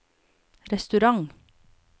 restaurant